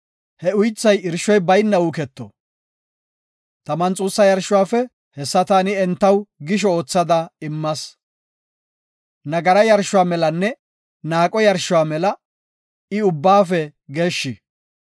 He uythay irshoy bayna uuketo. Taman xuussa yarshuwafe hessa taani entaw gisho oothada immas. Nagara yarshuwa melanne naaqo yarshuwa mela I ubbaafe geeshshi.